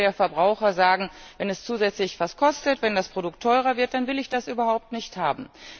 Drei Viertel der Verbraucher sagen Wenn es zusätzlich etwas kostet, wenn das Produkt teurer wird, dann will ich das überhaupt nicht haben.